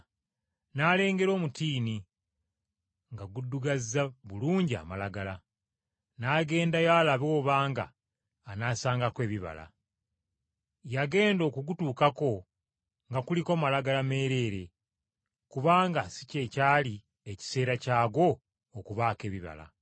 N’alengera omutiini, nga guddugazza bulungi amalagala, n’agendayo alabe obanga anaasangako ebibala. Yagenda okugutuukako nga kuliko makoola meereere, kubanga si kye kyali ekiseera kyagwo okubaako ebibala.